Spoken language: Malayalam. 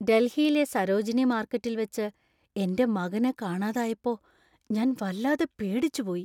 ഡൽഹിയിലെ സരോജിനി മാർക്കറ്റിൽ വച്ച് എന്‍റെ മകനെ കാണാതായപ്പോ ഞാൻ വല്ലാതെ പേടിച്ചുപോയി .